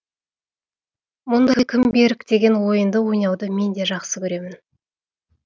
мұндай кім берік деген ойынды ойнауды мен де жақсы көремін